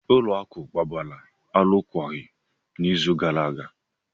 Ụlọ akụ gbara alụkwaghịm n'izu gara aga.